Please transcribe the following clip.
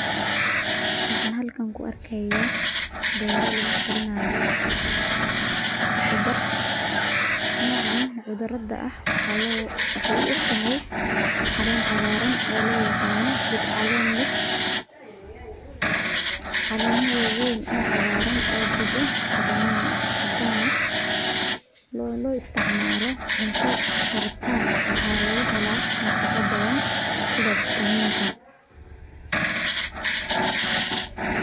Waxaan halkan ku arkaya beero lagu korinaayo dar noocan qudrada ah waxay u egtahay caleen cagaaran oo loo yaqaano geed caleen leh caleema wawayn oo cagaaran oo jido cadaan ah loo isticmaalo cunto karitaan waxaa lagahela nafaqo badan sida vitamiinka.